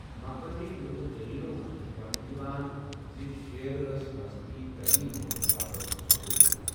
مقٲمی لوٗکہٕ دٔلیٖلَو منٛز چھُ وننہٕ یِوان زِ شیر ٲس مذہبی تٔعلیٖم بوزنہٕ باپتھ سوگل یِوان۔